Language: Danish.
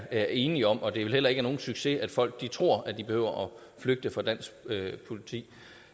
er enige om og det er vel heller ikke nogen succes når folk tror at de behøver at flygte fra dansk politi